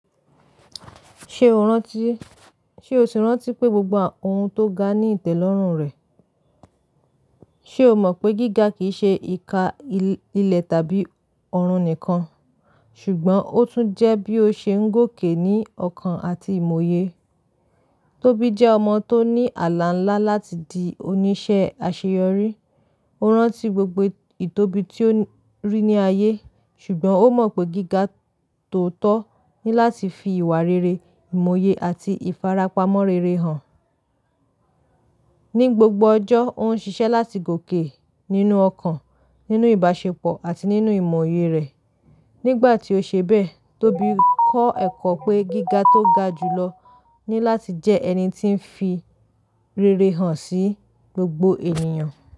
Ṣé o rántí, ṣe o si rántí pé gbogbo ohun tó ga ní ìtẹ́lọ́rùn rẹ̀? Ṣé o mọ̀ pé gíga kì í ṣe ìka ilẹ̀ tàbí ọ̀run nìkan, ṣùgbọ́n ó tún jẹ́ bí ó ṣe ń gòkè ní ọkàn àti ìmòye? Tóbi jẹ́ ọmọ tó ní àlá ńlá láti di oníṣẹ́ àṣeyọrí. Ó rántí gbogbo ìtóbi tí ó rí ní ayé, ṣùgbọ́n ó mọ̀ pé gíga tó tọ́ ní láti fi ìwà rere, ìmòye àti ìfarapa mọ́ rere hàn. Ní gbogbo ọjọ́, ó ń ṣiṣẹ́ láti gòkè nínú ọkàn, nínú ìbáṣepọ̀ àti nínú ìmòye rẹ̀. Nígbà tí ó ṣe bẹ́ẹ̀, Tóbi kọ́ ẹ̀kọ́ pé gíga tó ga jùlọ ní láti jẹ́ ẹni tí ń fi rere hàn sí gbogbo ènìyàn.